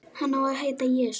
Hann á að heita Jesú.